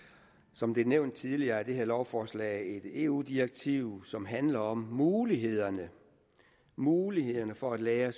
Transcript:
som det er nævnt tidligere omhandler det her lovforslag et eu direktiv som handler om mulighederne mulighederne for at lagre